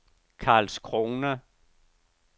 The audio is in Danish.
Karlskrona